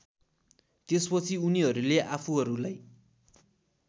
त्यसपछि उनीहरूले आफूहरूलाई